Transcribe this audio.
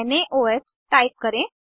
नाओह type करें